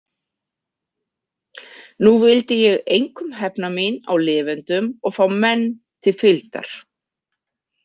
Nú vildi ég einkum hefna mín á lifendum og fá menn til fylgdar.